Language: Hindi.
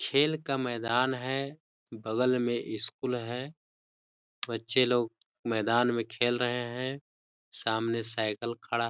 खेल का मैदान है बगल में स्कूल है बच्चे लोग मैदान में खेल रहे है सामने साइकिल खड़ा हैं।